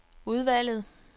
udvalget